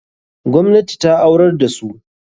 Gwamnati ta aurar da su.